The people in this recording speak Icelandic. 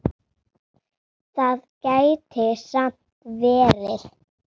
Það gæti samt verið.